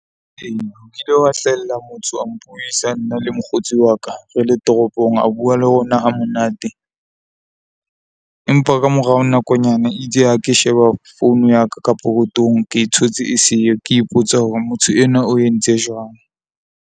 Ee, nkile wa hlahella motho a mpuisa, nna le mokgotsi wa ka re le toropong. A bua le rona ha monate empa ka morao nakonyana e itse ha ke sheba founu ya ka ka pokothong ke thotse e siyo ke ipotsa hore motho enwa o entse jwang.